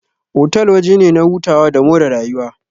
Otal waje ne na hutawa da more rayuwa.